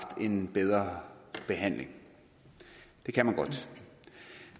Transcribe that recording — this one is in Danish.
en bedre behandling det kan man godt